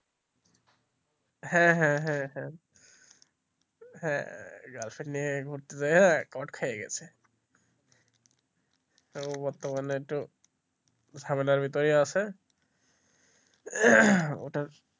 হ্যাঁ হ্যাঁ হ্যাঁ হ্যাঁ হ্যাঁ girlfriend নিয়ে ঘুরতে যেয়ে চোট খেয়ে গেছে তো বর্তমানে তো ঝামেলার মধ্যেই আছে ওটার,